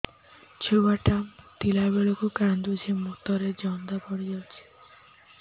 ଛୁଆ ଟା ମୁତିଲା ବେଳକୁ କାନ୍ଦୁଚି ମୁତ ରେ ଜନ୍ଦା ପଡ଼ି ଯାଉଛି